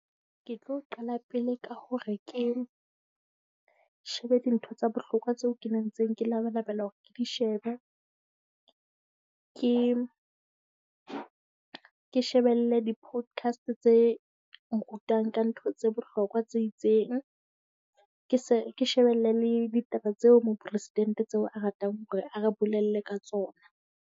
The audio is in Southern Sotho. Ke tlo qala pele ka hore ke shebe dintho tsa bohlokwa tseo ke neng ntse ke labalabela hore ke di shebe. Ke ke shebelle di-podcast tse nrutang ka ntho tse bohlokwa tse itseng. Ke se ke shebelle le ditaba tseo mopresidente tseo a ratang hore a re bolelle ka tsona.